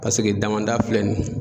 Paseke damanda filɛ nin ye